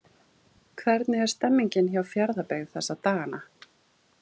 Hvernig er stemmningin hjá Fjarðabyggð þessa dagana?